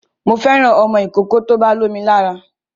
Mo fẹ́ràn ọmọ ìkókó tó bá lómo lára